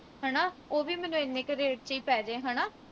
ਹਣਾ ਉਹ ਵੀ ਮੈਨੂੰ ਇੰਨੇ ਕਿ rate ਵਿਚ ਈ ਪੈ ਜੇ